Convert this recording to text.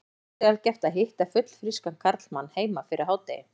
Svo sjaldgæft að hitta fullfrískan karlmann heima fyrir hádegi.